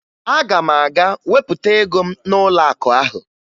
Aga m aga wepụta ego m n'ụlọakụ ahụ